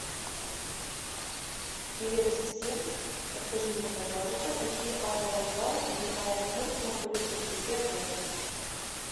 привет ассистент подскажи мне пожалуйста какие аэровокзалы или аэропорты находятся вблизи отеля